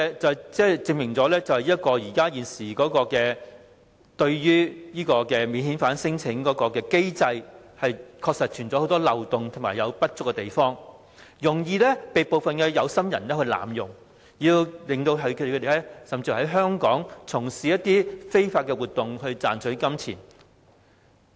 這證明了現時的免遣返聲請機制存在很多漏洞，也有不足之處，容易被部分有心人濫用，讓他們有機會在香港從事非法活動，賺取金錢。